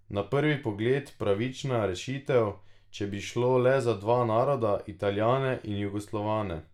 Na prvi pogled pravična rešitev, če bi šlo le za dva naroda, Italijane in Jugoslovane.